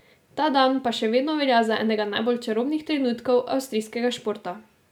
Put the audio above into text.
Ta dan pa še vedno velja za enega najbolj čarobnih trenutkov avstrijskega športa.